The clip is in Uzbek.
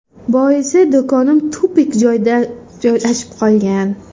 Boisi, do‘konim tupik joyda joylashib qolgan.